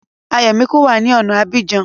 Ayọ̀míkún wá ní ọ̀na Abidjan